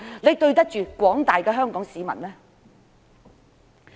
是否對得起廣大的香港市民？